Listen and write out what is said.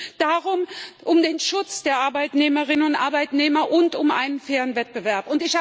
Es geht um den Schutz der Arbeitnehmerinnen und Arbeitnehmer und um einen fairen Wettbewerb.